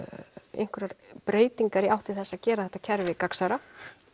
einhverjar breytingar í átt til þess að gera þetta kerfi gagnsærra